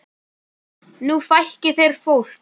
Nú fækki þeir fólki.